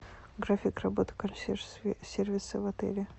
график работы консьерж сервиса в отеле